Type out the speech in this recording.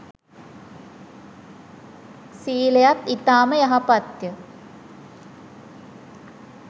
සීලයත් ඉතාම යහපත්ය